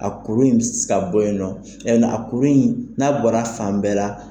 A kolo b ɛse ka bɔ yen nɔ, a kolo in n'a bɔra fan bɛɛ la.